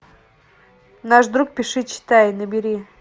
наш друг пиши читай набери